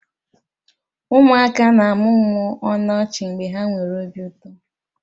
Ụmụaka na-amụmụ ọnụ ọchị mgbe ha nwere obi ụtọ.